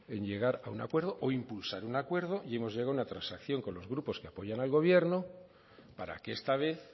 en llegar a un acuerdo o impulsar un acuerdo y hemos llegado a una transacción con los grupos que apoyan al gobierno para que esta vez